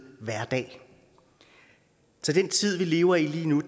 hverdag så den tid vi lever i lige nu